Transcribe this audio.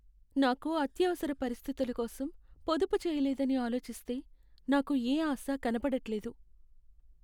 నాకు అత్యవసర పరిస్థితులకోసం పొదుపు చేయలేదని ఆలోచిస్తే నాకు యే ఆశా కనపడట్లేదు.